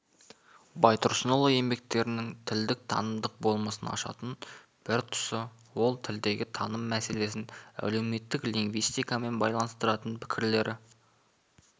байтұрсынұлы еңбектерінің тілдің танымдық болмысын ашатын бір тұсы ол тілдегі таным мәселесін әлеуметтік лингвистикамен байланыстыратын пікірлері